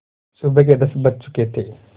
सुबह के दस बज चुके थे